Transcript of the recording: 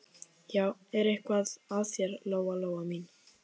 Er eitthvað að þér, Lóa Lóa mín?